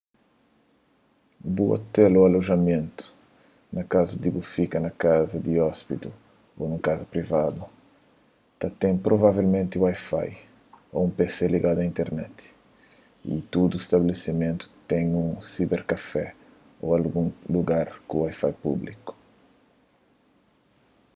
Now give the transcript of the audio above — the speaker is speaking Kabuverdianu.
bu ôtel ô alojamentu na kazu di bu fika na un kaza di ôspidi ô nun kaza privadu ta ten provavelmenti wifi ô un pc ligadu a internet y tudu stabelesimentu ten un siberkafé ô algun lugar ku wifi públiku